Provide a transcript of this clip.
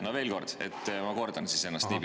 No veel kord, ma kordan siis ennast.